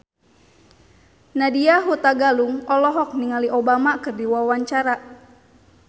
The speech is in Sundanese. Nadya Hutagalung olohok ningali Obama keur diwawancara